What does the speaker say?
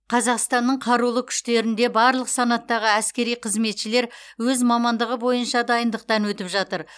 қазақстанның қарулы күштерінде барлық санаттағы әскери қызметшілер өз мамандығы бойынша дайындықтан өтіп жатыр